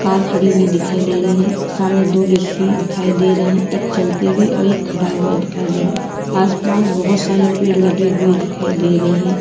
car खड़ी हुई दिखाई दे रही है सामने दो व्यक्ति दिखाई दे रहे एक चलते हुए एक खड़ा हुआ दिखाई दे रहा आस पास बहुत सारे पेड़ लगे हुए दिखाई दे रहे--